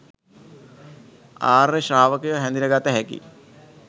ආර්ය ශ්‍රාවකයා හැඳින ගත හැකියි